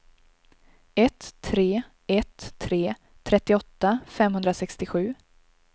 ett tre ett tre trettioåtta femhundrasextiosju